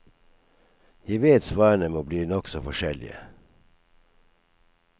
Jeg vet svarene må bli nokså forskjellige.